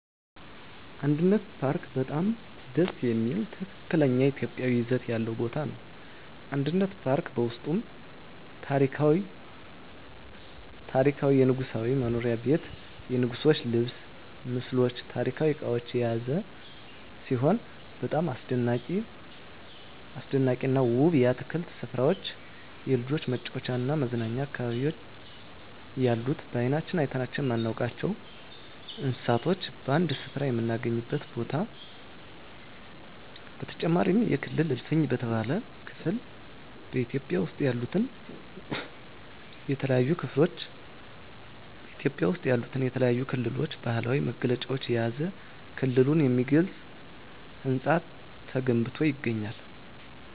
አንድነት ፓርክ በጣም ደስ የሚል ትክክለኛ ኢትዮጵያዊ ይዘት ያለው ቦታ ነው። አንድነት ፓርክ በውስጡም ታሪካዊ የንጉሣዊ መኖሪያ ቤት የንጉሥች ልብስ ምስሎች ታሪካዊ እቃዎች የያዘ ሲሆን በጣም አስደናቂና ውብ የአትክልት ስፍራዎች የልጆች መጫወቻና መዝናኛ አካባቢዎች ያሉት በአይናችን አይተናቸው የማናውቃቸውን እንስሳቶች በአንድ ስፍራ የምናገኝበት ቦታ በተጨማሪም የክልል እልፍኝ በተባለው ክፍል በኢትዮጵያ ውስጥ ያሉትን የተለያዩ ክልሎች ባህላዊ መገለጫዎችን የያዘ ክልሉን የሚገልጽ ህንፃ ተገንብቶ ይገኛል።